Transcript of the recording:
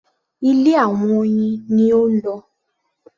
Ilé àwọn oyin ni ó ń lọ.